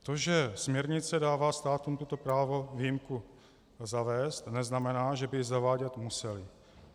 To, že směrnice dává státům toto právo výjimku zavést, neznamená, že by ji zavádět musely.